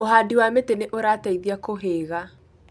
Ũhandi wa mĩtĩ nĩ ũrateithia kũhĩga